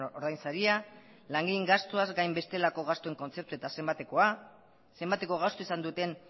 ordainsaria langileen gastuaz gain bestelako gastuen kontzeptua eta zenbatekoa zenbateko gastua izan duten